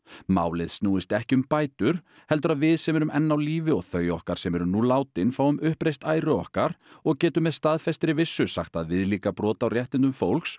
málið snúist ekki um bætur heldur að við sem erum enn á lífi og þau okkar sem eru nú látin fáum uppreist æru okkar og getum með staðfestri vissu sagt að viðlíka brot á réttindum fólks